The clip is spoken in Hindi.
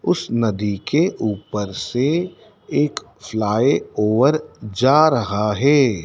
उस नदी के ऊपर से एक फ्लाई ओवर जा रहा है।